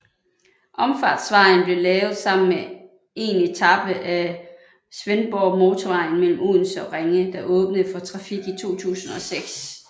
Omfartsvejen blev lavet sammen med 1 etape af Svendborgmotorvejen mellem Odense og Ringe der åbnede for trafik i 2006